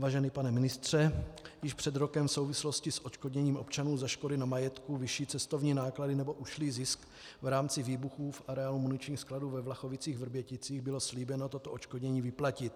Vážený pane ministře, již před rokem v souvislosti s odškodněním občanů za škody na majetku, vyšší cestovní náklady nebo ušlý zisk v rámci výbuchů v areálu muničního skladu ve Vlachovicích-Vrběticích bylo slíbeno toto odškodnění vyplatit.